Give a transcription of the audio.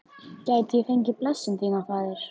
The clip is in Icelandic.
Gæti ég fengið blessun þína, faðir?